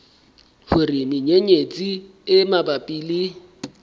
hore menyenyetsi e mabapi le